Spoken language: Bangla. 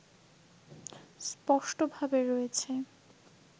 স্পষ্টভাবে রয়েছে।